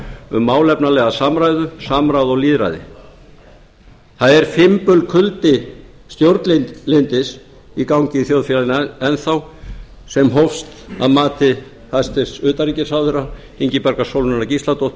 um málefnalega samræðu samráð og lýðræði það er fimbulkuldi stjórnlyndis í gangi í þjóðfélaginu enn þá sem hófst að mati hæstvirts utanríkisráðherra ingibjargar sólrúnar gísladóttur